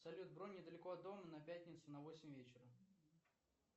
салют бронь недалеко от дома на пятницу на восемь вечера